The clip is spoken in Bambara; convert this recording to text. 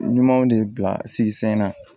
Ɲumanw de bila sigi sen na